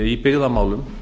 í byggðamálum